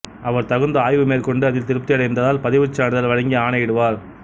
அவர் தகுந்த ஆய்வு மேற்கொண்டு அதில் திருப்தியடைந்தால் பதிவுச்சான்றிதழ் வழங்கி ஆணையிடுவார்